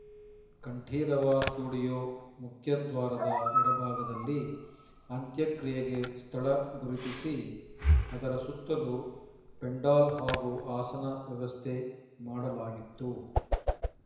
Kanteerava studio ಮುಖ್ಯದ್ವಾರದ ಎಡಭಾಗದಲ್ಲಿ ಅಂತ್ಯಕ್ರಿಯೆಗೆ ಸ್ಥಳ ಗುರುತಿಸಿ ಅದರ ಸುತ್ತಲೂ ಪೆಂಡಾಲ್‌ ಹಾಗೂ ಆಸನ ವ್ಯವಸ್ಥೆ ಮಾಡಲಾಗಿತ್ತು